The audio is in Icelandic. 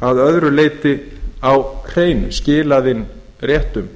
að öðru leyti haft allt sitt á hreinu skilað inn réttum